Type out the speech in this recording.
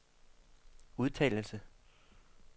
udtalelse